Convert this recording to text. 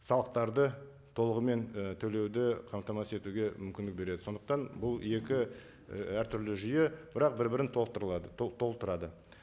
салықтарды толығымен і төлеуді қамтамасыз етуге мүмкіндік береді сондықтан бұл екі і әртүрлі жүйе бірақ бір бірін толықтырылады толықтырады